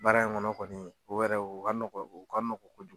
Baara in kɔnɔ kɔni o yɛrɛ o ka nɔgɔ o ka nɔgɔ kojugu.